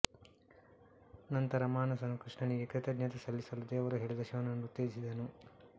ನಂತರ ಮಾನಸನು ಕೃಷ್ಣನಿಗೆ ಕೃತಜ್ಞತೆ ಸಲ್ಲಿಸಲು ದೇವರು ಹೇಳಿದ ಶಿವನನ್ನು ಉತ್ತೇಜಿಸಿದನು